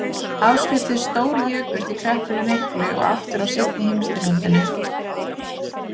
Áskriftir stórjukust í Kreppunni miklu og aftur á seinni heimsstyrjöldinni.